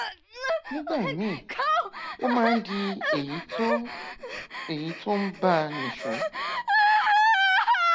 nígbà míì ó máa ń di èyí tó èyí tó ń bá a nìṣó